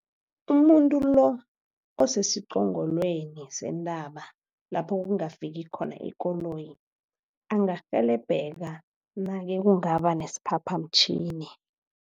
umuntu lo osesiqongolweni sentaba lapho kungafiki khona ikoloyi angarhelebheka nake kungaba nesiphaphamtjhini.